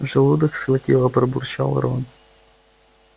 желудок схватило пробурчал рон